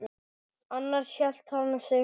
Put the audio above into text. Annars hélt hann sig heima.